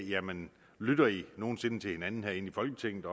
jamen lytter i nogen sinde til hinanden inde i folketinget